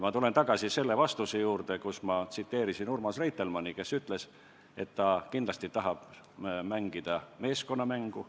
Ma tulen tagasi selle vastuse juurde, kus ma tsiteerisin Urmas Reitelmanni, kes on öelnud, et ta kindlasti tahab mängida meeskonnamängu.